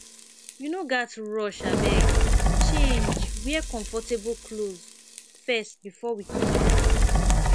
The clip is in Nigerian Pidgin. you no gats rush abeg change wear comfortable clothes first before we comot